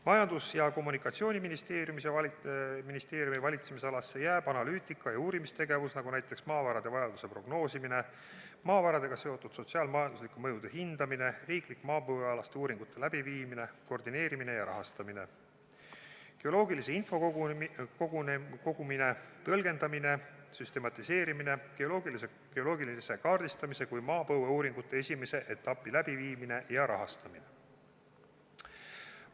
Majandus- ja Kommunikatsiooniministeeriumi valitsemisalasse jääb analüütika ja uurimistegevus, nagu näiteks maavarade vajaduse prognoosimine, maavaradega seotud sotsiaal-majanduslike mõjude hindamine, riiklike maapõuealaste uuringute läbiviimine, koordineerimine ja rahastamine, geoloogilise info kogumine, tõlgendamine, süstematiseerimine, geoloogilise kaardistamise kui maapõueuuringute esimese etapi läbiviimine ja rahastamine.